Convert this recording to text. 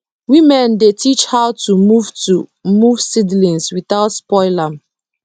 women dey teach how to move to move seedlings without spoil am